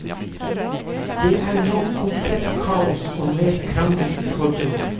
Det er nå komplett kaos og mer krangel i forbundet.